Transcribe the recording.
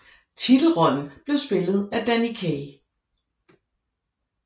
Titelrollen blev spillet af Danny Kaye